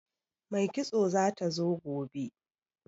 Mai kitso zata zo gobe